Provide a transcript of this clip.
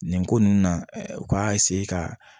Nin ko nunnu na u ka ka